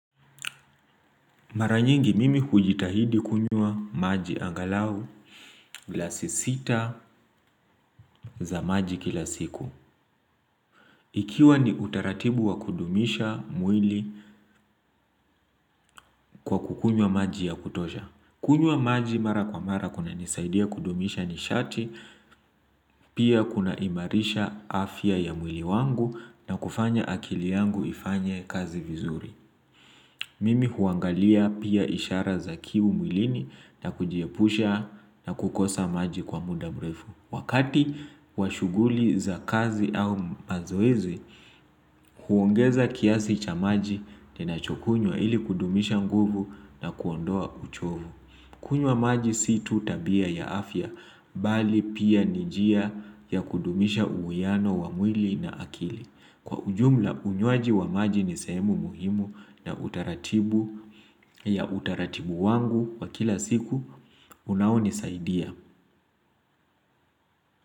Mara nyingi mimi hujitahidi kunywa maji angalau glasi sita za maji kila siku. Ikiwa ni utaratibu wa kudumisha mwili kwa kukunyua maji ya kutoja. Kunywa maji mara kwa mara kunanisaidia kudumisha nishati, pia kunaimarisha afya ya mwili wangu na kufanya akili yangu ifanye kazi vizuri. Mimi huangalia pia ishara za kiu mwilini na kujiepusha na kukosa maji kwa muda mrefu. Wakati wa shughuli za kazi au mazoezi, huongeza kiasi cha maji ninachokunywa ili kudumisha nguvu na kuondoa uchovu. Kunywa maji sio tu tabia ya afya, bali pia ni njia ya kudumisha uwiano wa mwili na akili. Kwa ujumla unywaji wa maji ni sehemu muhimu na utaratibu ya utaratibu wangu wa kila siku unaonisaidia.